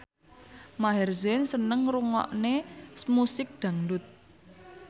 Maher Zein seneng ngrungokne musik dangdut